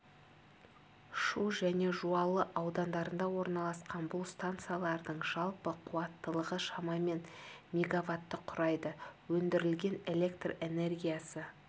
шу және жуалы аудандарында орналасқан бұл станциялардың жалпы қуаттылығы шамамен мегаватты құрайды өндірілген электр энергиясы